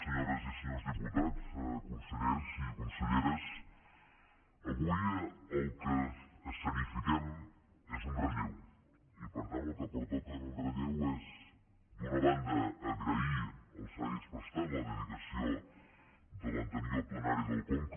senyores i senyors diputats consellers i conselleres avui el que esceni·fiquem és un relleu i per tant el que pertoca en un relleu és d’una banda agrair els serveis prestats la dedicació de l’anterior plenari del conca